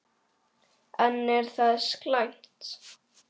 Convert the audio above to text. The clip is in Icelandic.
En er það slæmt?